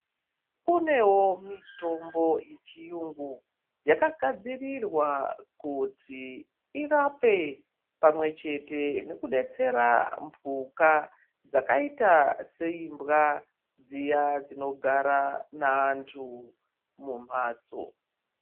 Kunewo mitombo yechiyungu yakugadzirirwa kuti irape pamwechete nekudatsera mbuka dzakaita seimbwa dziya dzinogara nevantu mumhatso.